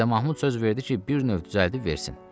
Mirzə Mahmud söz verdi ki, bir növ düzəldib versin.